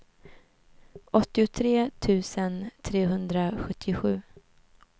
åttiotre tusen trehundrasjuttiosju